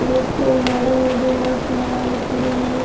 एक मैंडम है जो मास्क लगाई खड़ीं है।